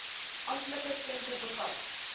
amptelike stempel bevat